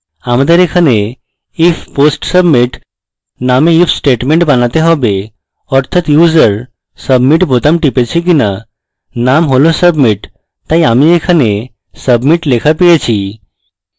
আমাদের এখানে if post submit name if statement বানাতে হবে অর্থাৎ user submit বোতাম টিপেছে কিনা name has submit তাই আমি এখানে submit লেখা পেয়েছি